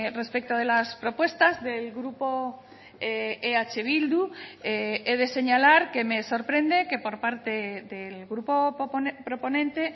respecto de las propuestas del grupo eh bildu he de señalar que me sorprende que por parte del grupo proponente